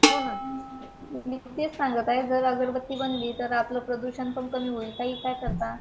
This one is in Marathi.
हो ना, मी तेच सांगत आहे जर अगरबत्ती बनली तर आपलं प्रदूषण पण कमी होईल